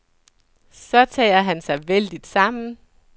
Så tager han sig vældigt sammen.